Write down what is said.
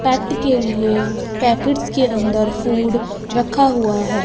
पेट के लिए पैकेट्स के अंदर फूड रखा हुआ है।